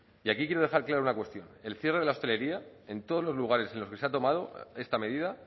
y aquí quiero dejar claro una cuestión el cierre de la hostelería en todos los lugares en los que se ha tomado esta medida